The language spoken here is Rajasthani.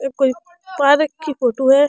एक कोई पार्क की फोटो है।